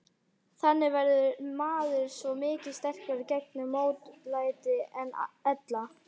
Þannig verður maður svo miklu sterkari gegn mótlæti en ella.